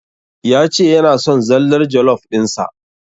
Ya ce yana son zallar jollof ɗin sa.